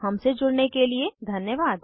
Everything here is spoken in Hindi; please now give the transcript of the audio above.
हमसे जुड़ने के लिए धन्यवाद